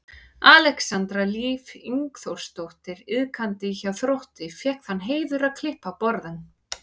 Alexandra Líf Ingþórsdóttir iðkandi hjá Þrótti fékk þann heiður að klippa á borðann.